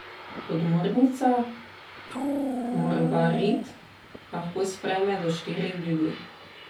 Podmornica Morvarid lahko sprejme do štiri ljudi.